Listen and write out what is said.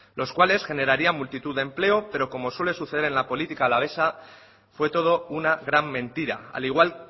los cuales generarían multitud de empleo pero como suele suceder en la política alavesa fue todo una gran mentira al igual